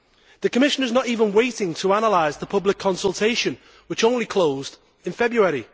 The Commission is not even waiting to analyse the public consultation, which only closed in February.